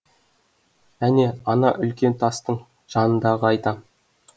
әне ана үлкен тастың жанындағыны айтам